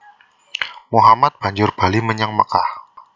Muhammad banjur bali menyang Mekkah